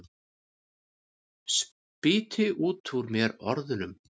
Spýti út úr mér orðunum.